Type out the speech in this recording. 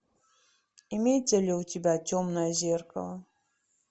имеется ли у тебя темное зеркало